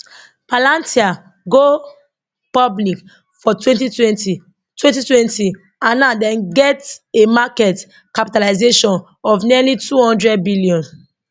palantir go public for 2020 2020 and now dem get a market capitalization of nearly 200 billion